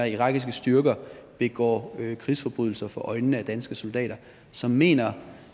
irakiske styrker begår krigsforbrydelser for øjnene af danske soldater så mener